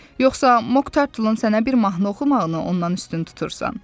Yoxsa Moktarlun sənə bir mahnı oxumağını ondan üstün tutursan?